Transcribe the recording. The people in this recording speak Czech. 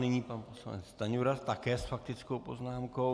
Nyní pan poslanec Stanjura také s faktickou poznámkou.